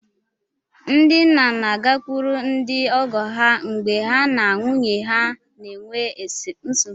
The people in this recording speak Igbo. Ndị nna na-agakwuru ndị ọgọ ha mgbe ha na nwunye ha na-enwe nsogbu